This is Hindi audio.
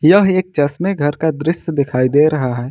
यह एक चश्मा घर का दृश्य दिखाई दे रहा है।